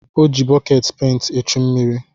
O ji bọkeetị penti echu mmiri.